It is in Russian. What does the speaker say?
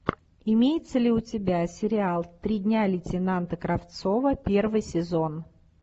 имеется ли у тебя сериал три дня лейтенанта кравцова первый сезон